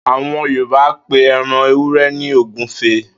Àwo̩n Yorùbá ń pe e̩ran ewúre̩ ní ògúfe